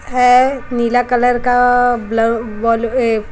है नीला कलर का --